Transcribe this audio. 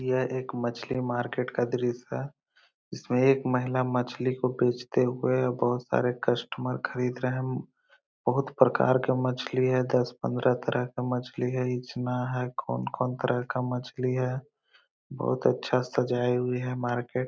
यह एक मछली मार्केट का दृश्य है। जिसमे एक महिला मछली को बेचते हुए बहोत सारे कस्टमर खरीद रहे है। बहुत प्रकार की मछली है। दस पंद्रह तरह की मछली है। इजना है। कौन-कौन तरह का मछली है। बहुत अच्छा सजाई हुई है मार्केट ।